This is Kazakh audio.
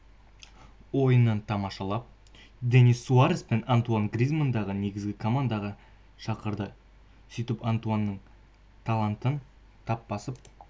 ойынын тамашалап денис суарес пен антуан гризманнды негізгі командаға шақырды сөйтіп антуанның талантын тап басып